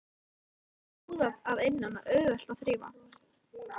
Það er húðað að innan og auðvelt að þrífa.